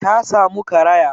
Ta samu karaya